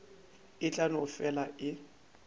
e tla no fela e